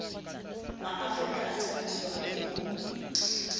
maafrika a thabiswa ke ho